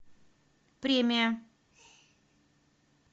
премия